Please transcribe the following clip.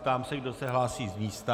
Ptám se, kdo se hlásí z místa.